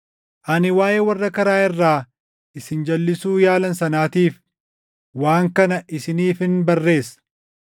Ani waaʼee warra karaa irraa isin jalʼisuu yaalan sanaatiif waan kana isiniifin barreessa.